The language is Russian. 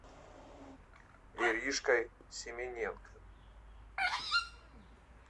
иришкой семененко